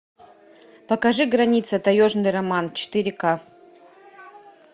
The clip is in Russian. покажи граница таежный роман четыре ка